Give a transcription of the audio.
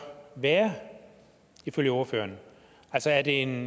være ifølge ordføreren altså er det en